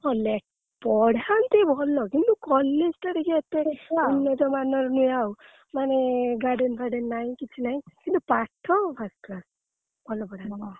ହଁ ଲେ ପଢାନ୍ତି ଭଲ କିନ୍ତୁ college ଟା ଟିକେ ଏତେ ଉନ୍ନତ ମାନର ନୁହେଁ ଆଉ ମାନେ garden ଫାଡେନ ନାଇଁ କିଛି ନାଇଁ କିନ୍ତୁ ପାଠ first class ଭଲ ପଢାନ୍ତି।